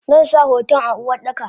Zansa hoton a Uwardaka.